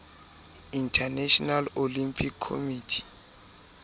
international olympic committee